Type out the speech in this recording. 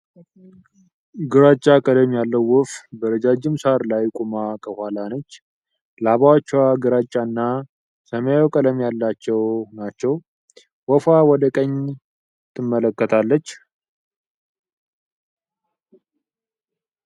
ግራጫ ቀለም ያለው ወፍ በረጃጅም ሳር ላይ ቆማ ከኋላ ነች። ላባዎቿ ግራጫ እና ሰማያዊ ቀለም ያላቸው ናቸው፡፡ ወፏ ወደ ቀኝ ትመለከታለች።